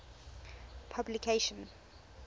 publication